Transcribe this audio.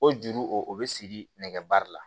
O juru o bɛ siri nɛgɛbere la